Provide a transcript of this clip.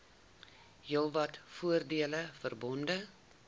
heelwat voordele verbonde